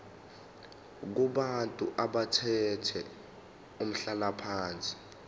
kubantu abathathe umhlalaphansi